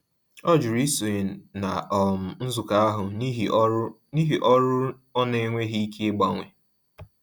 Ọ jụrụ isonye na um nzukọ ahụ n’ihi ọrụ n’ihi ọrụ ọ n'enweghi ike ịgbanwe.